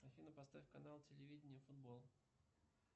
афина поставь канал телевидения футбол